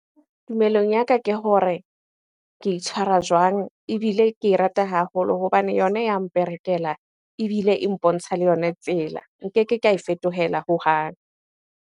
Tumellong ya ka ke hore ke itshwara jwang? Ebile ke e rata haholo hobane yona ya mperekela ebile e mpontsha le yona tsela. Nkeke ka e fetohela hohang.